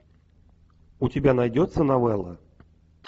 у тебя найдется новелла